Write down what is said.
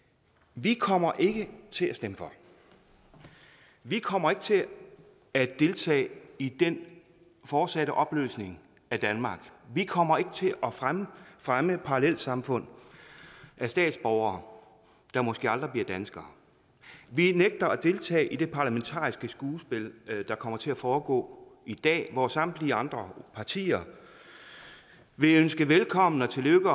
vi kommer ikke til at stemme for vi kommer ikke til at deltage i den fortsatte opløsning af danmark vi kommer ikke til at fremme fremme parallelsamfund med statsborgere der måske aldrig bliver danskere vi nægter at deltage i det parlamentariske skuespil der kommer til at foregå i dag hvor samtlige andre partier vil ønske velkommen og tillykke